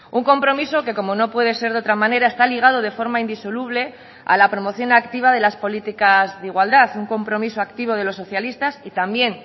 un compromiso que como no puede ser de otra manera está ligado de forma indisoluble a la promoción activa de las políticas de igualdad un compromiso activo de los socialistas y también